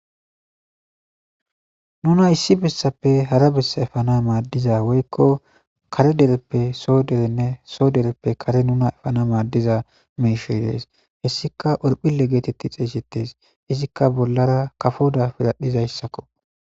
Nuna issi bessappe hara bessa efana maaddiza woykko kare dereppe soo derenne soo dereppe kare nuna efana maaddiza meishoy dees hessika orphile geetetti xeesettes izikka bollara kafoda piradhizayssakko.